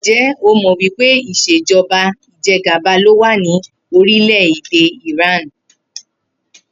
Ǹjé̩ o mò̩ wí pé ìs̩èjo̩ba ìje̩gàba ló wà ní orílè̩-èdè Iran?